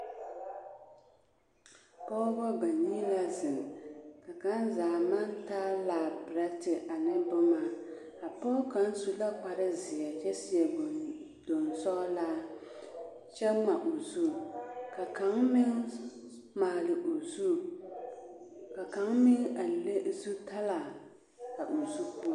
Pɔgebɔ banii la zeŋ ka kaŋ zaa maŋ taa laaperɛte ane boma, a pɔge kaŋ su la kpare zeɛ kyɛ seɛ gondoŋ sɔgelaa kyɛ ŋma o zu, ka kaŋ meŋ maale o zu, ka kaŋ meŋ a le zutalaa a o zu poɔ.